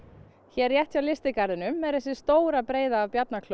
hér rétt hjá lystigarðinum var stór breiða af